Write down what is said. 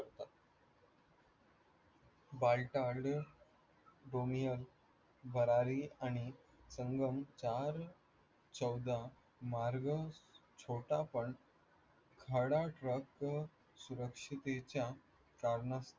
बरारी आणि संगम चार चौदा मार्ग छोटा पण खडा सुरक्षितेच्या कारणास्तव